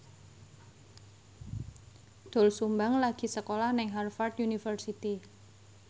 Doel Sumbang lagi sekolah nang Harvard university